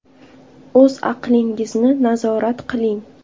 O‘z aqlingizni nazorat qiling.